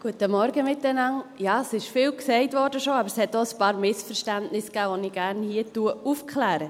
Es wurde schon viel gesagt, aber es gab auch einige Missverständnisse, die ich hier gerne aufkläre.